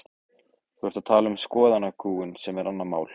Þú ert að tala um skoðanakúgun sem er annað mál.